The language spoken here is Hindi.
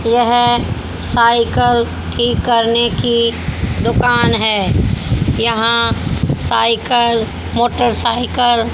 यह साइकल ठीक करने की दुकान है। यहां साइकल मोटरसाइकल --